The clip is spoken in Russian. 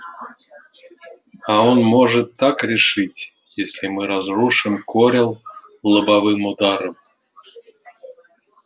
а он может так решить если мы разрушим корел лобовым ударом